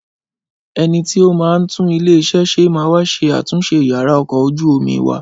Ẹnití ó máa ń tún ilé ṣe máa wá ṣe àtúnṣe yàrá ọkọ̀ ojú omi wa